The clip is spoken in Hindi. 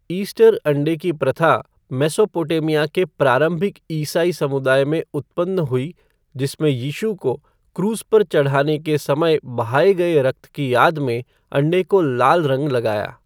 ईस्टर अंडे की प्रथा मेसोपोटामिया के प्रारंभिक ईसाई समुदाय में उत्पन्न हुई जिसमें यीशु को क्रूस पर चढ़ाए जाने के समय बहाए गए रक्त की याद में अंडे को लाल रंग लगाया।